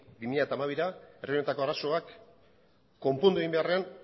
bi mila hamabira herri honetako arazoak konpondu egin beharrean